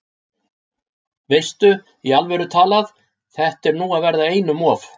Veistu. í alvöru talað. þetta er nú að verða einum of!